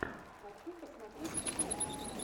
хочу посмотреть ужастик